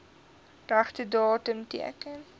regte datum teken